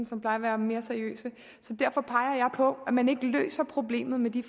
som plejer være mere seriøse så derfor peger jeg på at man ikke løser problemet med de